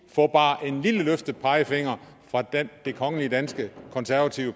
få bare en lille løftet pegefinger fra det kongelige danske konservative